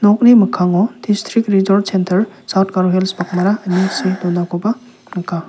okni mikkango distrik rejort sentar saut garo hils bakmara ine see donakoba nika.